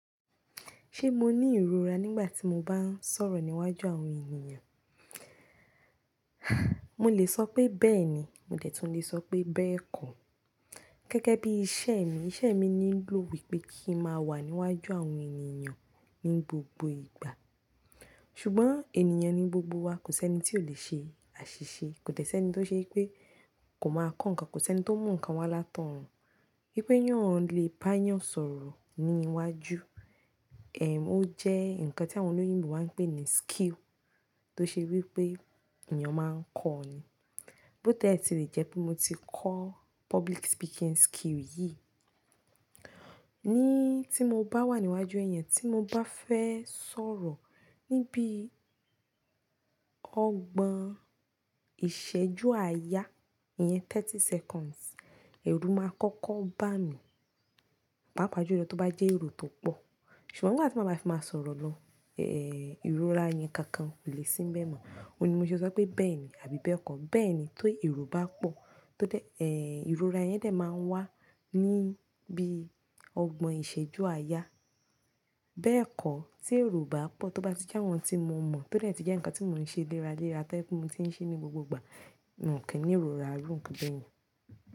Ṣé mo ní ìrora nígbà tí mo bá ń sọ̀rọ̀ níwájú àwọn ènìyàn? Mo lè sọ pé bẹ́ẹ̀ni, mo dẹ̀tùn lè sọ pé bẹ́ẹ̀ kó. Gegẹ́ bí iṣẹ́ mi, iṣẹ́ mi ní ń ló wípé kí n má wà níwájú àwọn ènìyàn ní gbogbo ìgbà. Ṣùgbọ́n ènìyàn ní gbogbo wa kò sí ẹni tí ò lè ṣe àṣìṣe, kò dẹ sí ẹni tó ṣe wípé kò máa kọ́ nǹkan, kò sí ẹni tó mú nǹkan wá látọrun. Wípé èeyàn lè bá èeyàn sọ̀rọ̀ ní iwájú, ó jẹ́ ǹkan tí àwọn olóyìnbo máa ń pè ní skill tó ṣe wípé èeyàn máa ń kọ́ ọ ni. Bó ti e ti lè jẹ́ pé mo ti kọ́ public speaking skill yìí, ní tí mo bá wà níwájú èèyàn, tí mo bá fẹ́ sọ̀rọ̀ níbi ọgbọ̀n ìṣẹ́jú àyà iyẹn thirty seconds, èrù máa kọ́kọ́ bá mi, pàápàá ju lọ tó bá jẹ́ èro tó pọ̀. Ṣùgbọ́n nígbà tí ma bá fi máa sọ̀rọ̀ lọ, ìrora yẹn kankan kò lè sínbẹ̀ mọ́. Ó un ni mo ṣe sọ pé bẹ́ẹ̀ni àbí bẹ́ẹ̀ kó. Bẹ́ẹ̀ ni tó èro bá pọ̀, tó dẹ ìrora yẹn dẹ̀ máa ń wá níbi ọgbọ̀n ìṣẹ́jú àyà. Bẹ́ẹ̀ kó tí èro o bá pọ̀, tó bá tí jẹ́ àwọn tí mo mọ̀, tó dẹ́ tí jẹ́ ǹkan tí mò ń ṣe léra léra, tó jẹ́ pé mo ti ń ṣe ní gbogbo ìgbà, nkin ni ìrora irù noan bẹ́yẹn.